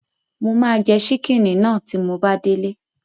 Mo máa jẹ ṣíkìnnì náà tí mo bá délé